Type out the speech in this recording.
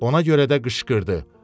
Ona görə də qışqırdı: